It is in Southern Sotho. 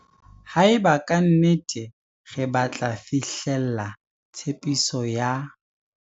Haeba ka nnete re batla fihlella tshepiso ya.